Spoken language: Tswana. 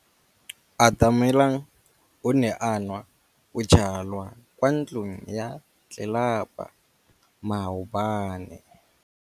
Atamelang o ne a nwa bojwala kwa ntlong ya tlelapa maobane.